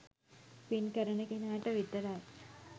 පින් කරන කෙනාට විතරයි.